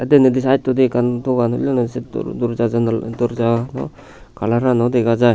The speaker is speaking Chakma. te deney de size tode ekkan dogan hullonney se doorja ano colourano dega jai.